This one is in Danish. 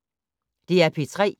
DR P3